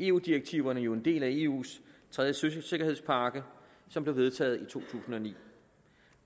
eu direktiverne jo en del af eus tredje søsikkerhedspakke som blev vedtaget i to tusind og ni